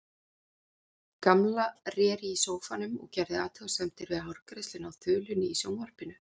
Gamla réri í sófanum og gerði athugasemdir við hárgreiðsluna á þulunni í sjónvarpinu.